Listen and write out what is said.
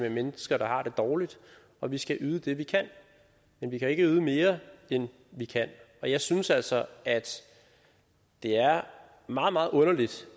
med mennesker der har det dårligt og vi skal yde det vi kan men vi kan ikke yde mere end vi kan og jeg synes altså at det er meget meget underligt